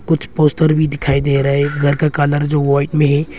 कुछ पोस्टर भी दिखाई दे रहे हैं घर का कलर जो वाइट में है।